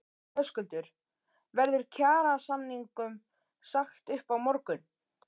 Höskuldur: Verður kjarasamningum sagt upp á morgun?